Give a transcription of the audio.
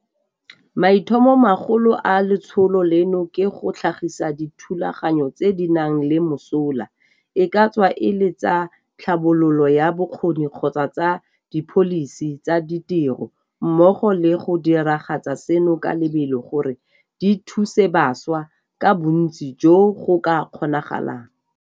Maitlhomomagolo a letsholo leno ke go tlhagisa dithulaganyo tse di nang le mosola, e ka tswa e le tsa tlhabololo ya bokgoni kgotsa tsa dipholisi tsa ditiro, mmogo le go diragatsa seno ka lebelo gore di thuse bašwa ka bontsi jo go ka kgonagalang.